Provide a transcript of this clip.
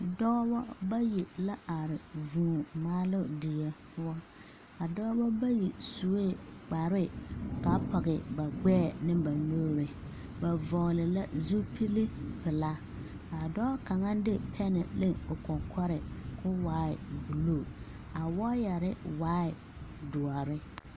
Dɔɔbɔ bayi la are vũũ maaloo die poɔ. A dɔɔbɔ bayi sue kparre kaa pɔge ba gbɛɛ ne ba nuuri. Ba vɔgle la zupili pelaa kaa dɔɔ kaŋa de pɛne hle o kɔkɔre koo waaɛ buluu. A wɔɔyɛre waa doɔre.